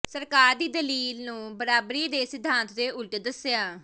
ਸਰਕਾਰ ਦੀ ਦਲੀਲ ਨੂੰ ਬਰਾਬਰੀ ਦੇ ਸਿਧਾਂਤ ਦੇ ਉਲਟ ਦਸਿਆ